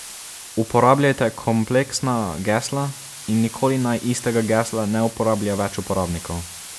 Uporabljajte kompleksna gesla in nikoli naj istega gesla ne uporablja več uporabnikov.